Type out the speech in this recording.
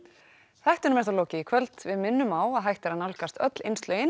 þættinum er þá lokið í kvöld við minnum á að hægt er að nálgast öll